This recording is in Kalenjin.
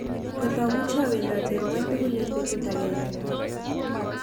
Ngot amuche awendat eng' ng'wony tugul eng betut agenge